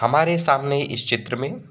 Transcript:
हमरे सामने इस चित्र में--